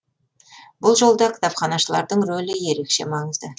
бұл жолда кітапханашылардың рөлі ерекше маңызды